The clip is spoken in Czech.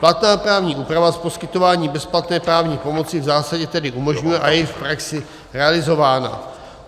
Platná právní úprava poskytování bezplatné právní pomoci v zásadě tedy umožňuje a je i v praxi realizována.